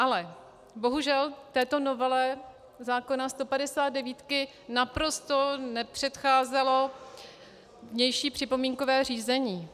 Ale bohužel této novele zákona 159 naprosto nepředcházelo vnější připomínkové řízení.